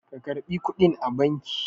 ka karɓi kuɗin a banki!